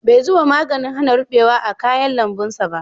Bai zuba maganin hana ruɓewa a kayan lambun ba